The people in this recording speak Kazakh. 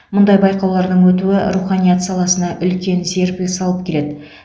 мұндай байқаулардың өтуі руханият саласына үлкен серпіліс алып келеді